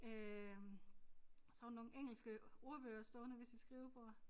Øh så har hun nogle engelske ordbøger stående ved sit skrivebord